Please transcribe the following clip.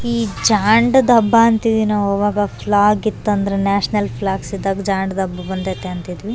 ಈ ಜಾಂಡ್ ದಬ್ಬ ಅಂತೀದಿವಿ ನಾವು ಆವಾಗ ಫ್ಲ್ಯಾಗ್ ಇತ್ತಂದ್ರೆ ನ್ಯಾಷನಲ್ ಫ್ಲ್ಯಾಗ್ಸ್ ಇದ್ದಾಗ ಜಾಂಡ್ ದಬ್ಬ ಬಂದೈತಿ ಅಂತಿದ್ವಿ.